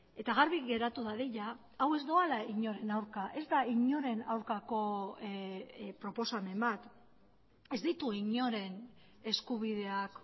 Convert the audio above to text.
eta garbi geratu dadila hau ez doala inoren aurka ez da inoren aurkako proposamen bat ez ditu inoren eskubideak